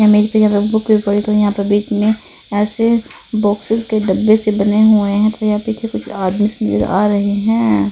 कोई तो यहाँ पे बिकने ऐसे बॉक्सेस के डब्बे से बने हुए हैं कोइ यहाँ पे तो स्मेल आ रहे हैं।